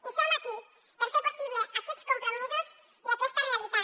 i som aquí per fer possible aquests compromisos i aquesta realitat